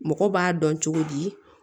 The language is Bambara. Mɔgɔ b'a dɔn cogo di